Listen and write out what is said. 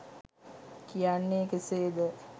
කියන්නේ කෙසේද?